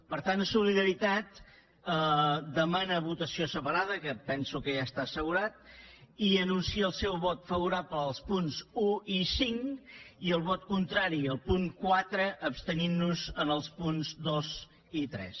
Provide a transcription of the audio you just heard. per tant solidaritat demana votació separada que penso que ja està assegurat i anuncia el seu vot favorable als punts un i cinc i el vot contrari al punt quatre i ens abstindrem en els punts dos i tres